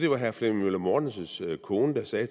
var herre flemming møller mortensens kone der sagde